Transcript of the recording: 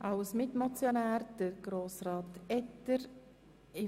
Als Mitmotionär hat Grossrat Etter das Wort.